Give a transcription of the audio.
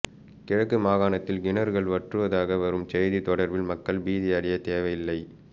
கிழக்கு மாகாணத்தில் கிணறுகள் வற்றுவதாக வரும் செய்தி தொடர்பில் மக்கள் பீதியடையத் தேவையில்லை